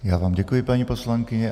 Já vám děkuji, paní poslankyně.